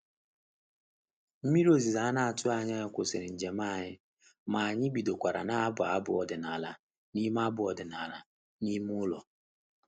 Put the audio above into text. Nmiri ozuzo ana-atụghị anya kwụsịrị njem anyị, ma anyị bidokwara na-abụ abụ ọdịnala n'ime abụ ọdịnala n'ime ụlọ.